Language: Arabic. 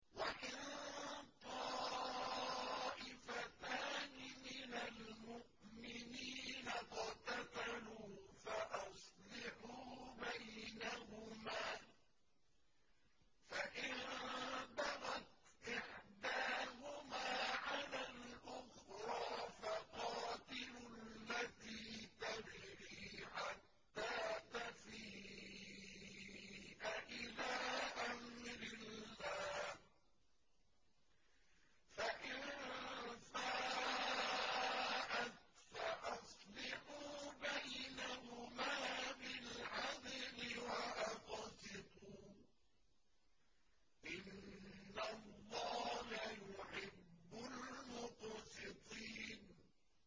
وَإِن طَائِفَتَانِ مِنَ الْمُؤْمِنِينَ اقْتَتَلُوا فَأَصْلِحُوا بَيْنَهُمَا ۖ فَإِن بَغَتْ إِحْدَاهُمَا عَلَى الْأُخْرَىٰ فَقَاتِلُوا الَّتِي تَبْغِي حَتَّىٰ تَفِيءَ إِلَىٰ أَمْرِ اللَّهِ ۚ فَإِن فَاءَتْ فَأَصْلِحُوا بَيْنَهُمَا بِالْعَدْلِ وَأَقْسِطُوا ۖ إِنَّ اللَّهَ يُحِبُّ الْمُقْسِطِينَ